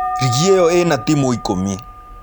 Rigi ĩyo ĩna timũ ikũmi.